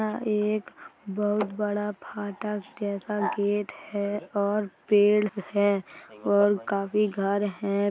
यह एक बोहोत बड़ा फाटक जैसा गेट है और पेड़ है और काफी घर है।